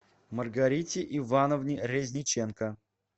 маргарите ивановне резниченко